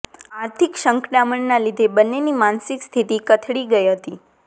આર્થિક સંકડામણના લીધે બંનેની માનસિક સ્થિતિ કથળી ગઇ હતી